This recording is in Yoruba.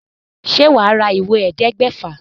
Ṣe wà á ra ìwé ẹ̀ẹ́dẹgbèfà?